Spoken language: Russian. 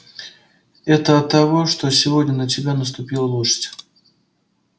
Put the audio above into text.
это от того что сегодня на тебя наступила лошадь